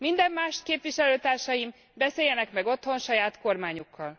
Minden mást, képviselőtársaim, beszéljenek meg otthon saját kormányukkal.